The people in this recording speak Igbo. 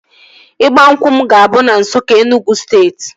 Ịgba nkwụ m ga-abụ na Nsukka, Enugwu steeti